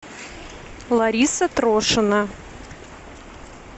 лариса трошина